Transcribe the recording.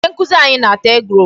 Onye nkụzi anyị na-ata egg-roll.